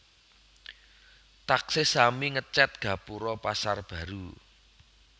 Taksih sami ngecet gapuro Pasar Baru